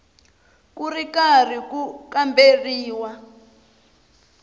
ku ri karhi ku kamberiwa